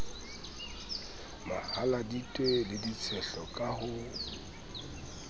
mahaladitwe le ditshehlo ka ho